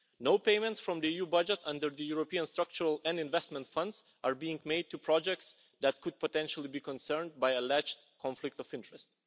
No payments from the EU budget under the European structural and investment funds are being made to projects that could potentially be concerned by alleged conflict of interest.